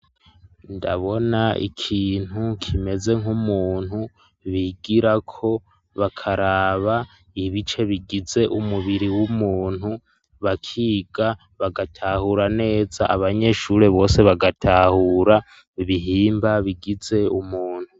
Ndabona ikintu kimeze nk'umuntu bigirako bakaraba ibice bigize umubiri w'umuntu ,bakiga bagatahura neza abanyeshuri bose bagatahura ibihimba bigize umuntu.